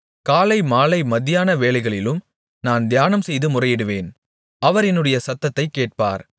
காலை மாலை மத்தியான வேளைகளிலும் நான் தியானம்செய்து முறையிடுவேன் அவர் என்னுடைய சத்தத்தைக் கேட்பார்